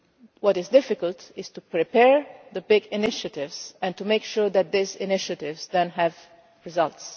What is difficult is to prepare the big initiatives and to make sure that these initiatives then have results.